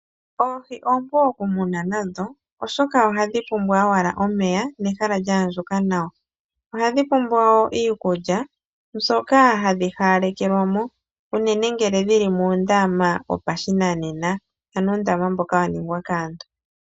Oohi oompu okumuna, oshoka ohadhipumbwa owala omeya nehala lya andjuka nawa. ohadhi pumbwa iikulya mbyoka hadhipewelwamo, unene ngele dhili muundama wopashinanena ano uundama mboka waningwa kaantu